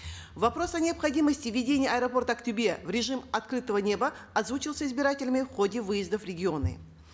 вопрос о необходимости введения аэропорта актобе в режим открытого неба озвучился избирателями в ходе выезда в регионы